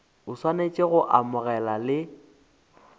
o swanetše go amogela le